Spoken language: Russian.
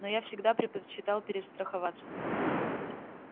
но я всегда предпочитал перестраховаться